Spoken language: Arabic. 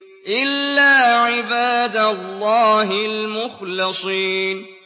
إِلَّا عِبَادَ اللَّهِ الْمُخْلَصِينَ